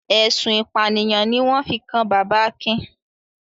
Ẹ̀sùn ìpànìyàn ni wọ́n fi kan bàbá Akin.